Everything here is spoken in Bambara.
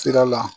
Sira la